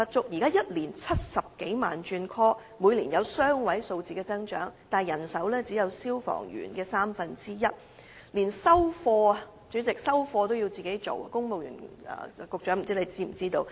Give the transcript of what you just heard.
現時每年有超過70萬次緊急召喚，每年均有雙位數字的增長，但他們的人手僅為消防員的三分之一，連收貨工作也要兼顧，不知公務員事務局局長是否知情？